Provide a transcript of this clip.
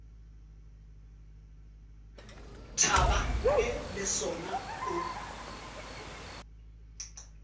thaba ge le sona o